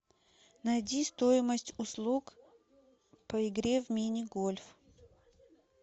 найди стоимость услуг по игре в мини гольф